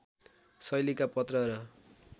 शैलीका पत्र र